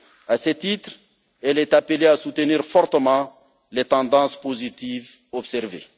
À ce titre, elle est appelée à soutenir fortement les tendances positives observées.